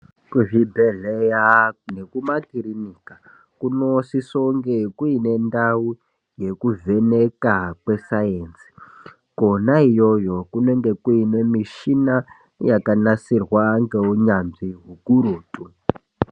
Kuzvibhedhlera nekumakirinika kunosise kunge kune ndau yekuvheneka kwesainzi. Kwona iyoyo kunenge kuine mishina yakanasirwa ngeunyanzvi ukurutu.